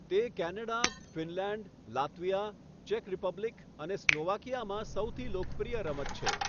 તે Canada, Finland, Latvia, ચેક Republic અને સ્લોવાકિયામાં સૌથી લોકપ્રિય રમત છે.